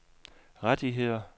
rettigheder